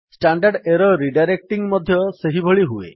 standard error redirecting ମଧ୍ୟ ସେହିଭଳି ହୁଏ